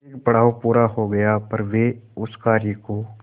एक पड़ाव पूरा हो गया पर वे उस कार्य को